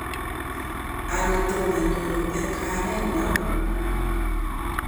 Ani, tomo inyoru en kayanet nyon?